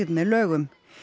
með lögum